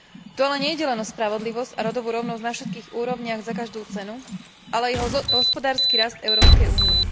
Tu ale nejde len o spravodlivosť a rodovú rovnosť na všetkých úrovniach za každú cenu, ale i hospodársky rast Európskej únie.